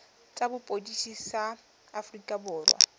tsa sepodisi sa aforika borwa